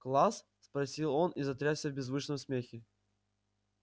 класс спросил он и затрясся в беззвучном смехе